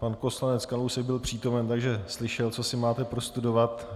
Pan poslanec Kalousek byl přítomen, takže slyšel, co si má prostudovat.